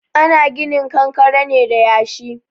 Ana ginin kankare ne da yashi.